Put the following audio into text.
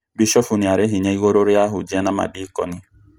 Bishofu nĩari hinya igũrũ rĩa ahunjia na madeconi